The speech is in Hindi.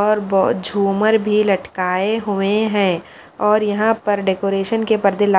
और बहोत झूमर भी लटकाए हुए है और यहाँ पर डेकोरेशन के पर्दे लाल --